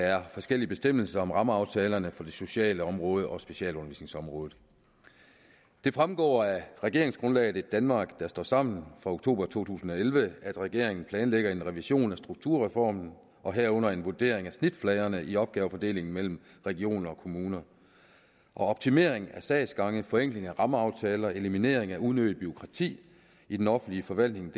er forskellige bestemmelser om rammeaftalerne for det sociale område og for specialundervisningsområdet det fremgår af regeringsgrundlaget et danmark der står sammen fra oktober to tusind og elleve at regeringen planlægger en revision af strukturreformen og herunder en vurdering af snitfladerne i opgavefordelingen mellem regioner og kommuner optimeringen af sagsgange forenkling af rammeaftaler og eliminering af unødigt bureaukrati i den offentlige forvaltning er